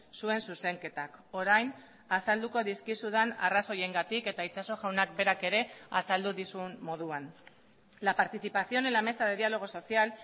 zuen zuzenketak orain azalduko dizkizudan arrazoiengatik eta itxaso jaunak berak ere azaldu dizun moduan la participación en la mesa de diálogo social